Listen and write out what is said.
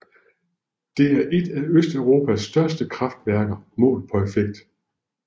Det er et af Østeuropas største kraftværker målt på effekt